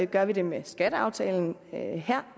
gør vi det med skatteaftalen her